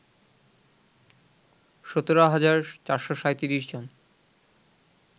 ১৭ হাজার ৪৩৭ জন